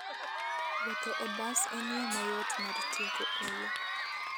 Wuotho e bas en yo mayot mar tieko olo.